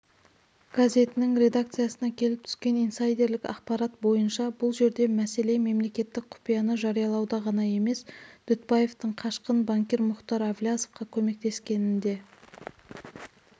газетінің редакциясына келіп түскен инсайдерлік ақпарат бойынша бұл жерде мәселе мемлекеттік құпияны жариялауда ғана емес дүтбаевтың қашқын банкир мұхтар әблязовқа көмектескенінде